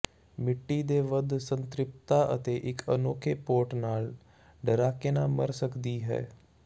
ਮਿੱਟੀ ਦੇ ਵੱਧ ਸੰਤ੍ਰਿਪਤਾ ਅਤੇ ਇੱਕ ਅਨੌਖੇ ਪੋਟ ਨਾਲ ਡਰਾਕੇਨਾ ਮਰ ਸਕਦੀ ਹੈ